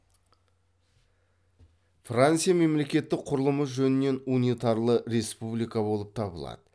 франция мемлекеттік құрылымы жөнінен унитарлы республика болып табылады